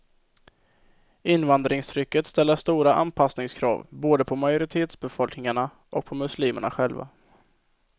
Invandringstrycket ställer stora anpassningskrav både på majoritetsbefolkningarna och på muslimerna själva.